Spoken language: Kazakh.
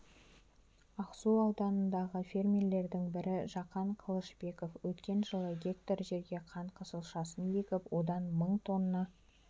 ақсу ауданындағы фермерлердің бірі жақан қылышбеков өткен жылы гектар жерге қант қызылшасын егіп одан мың тонна